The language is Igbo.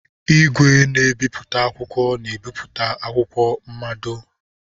Igwe na-ebi akwụkwọ na ebipụta akwụkwọ mmado.